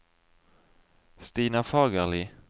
Stina Fagerli